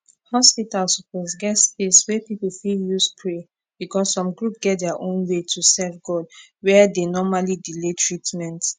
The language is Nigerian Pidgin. hospital suppose get space wey people fit use pray because some group get their own way to serve god were dey normally delay treatment